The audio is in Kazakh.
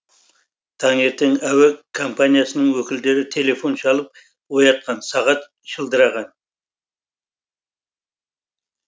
таңертең әуе компаниясының өкілдері телефон шалып оятқан сағат шылдыраған